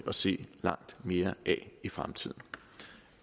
at se langt mere af i fremtiden